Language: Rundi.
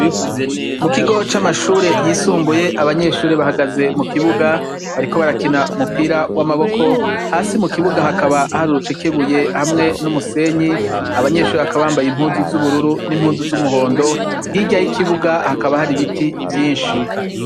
Mukigo c'Amashure y'isumbuye, abanyeshure bahagaze mukibuga bariko barakina umupira w'amaboko hasi mukibuga hakaba hari urucekebuye hamwe n'umusenyi, abanyeshure bakaba bambaye Impuzu z'ubururu n'izumuhondo, hirya y'ikibuga hakaba hari ibiti vyishi.